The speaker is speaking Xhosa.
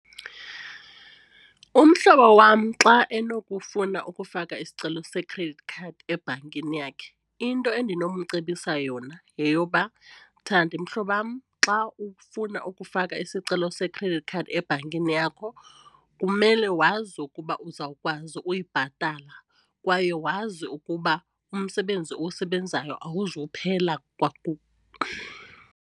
Umhlobo wam xa enokufuneka ukufaka isicelo se-credit card ebhankini yakhe into endinomcebisa yona yeyoba, Thandi mhlobam xa ufuna ukufaka isicelo se-credit card ebhankini yakho kumele wazi ukuba uzawukwazi uyibhatala kwaye wazi ukuba umsebenzi owusebenzayo awuzuphela .